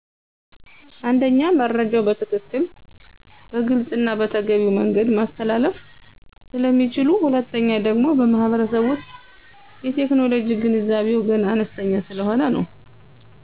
አንደኛ መረጃዉ በትክክል; በግልፅና በተገቢዉ መንገድ ማስተላለፍ ስለሚችሉ።. ሁለተኛ ደግሞ በማህበረሰቡ ዉሰጥ የቴክኖሎጂ ገንዛቤዉ ገና አነስተኛ ሰለሆነ ነው።